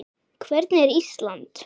Hvernig er Ísland?